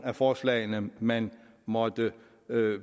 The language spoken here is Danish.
af forslagene man måtte